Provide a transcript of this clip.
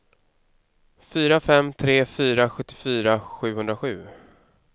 fyra fem tre fyra sjuttiofyra sjuhundrasju